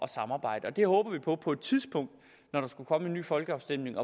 samarbejde det håber vi på på et tidspunkt skulle komme en ny folkeafstemning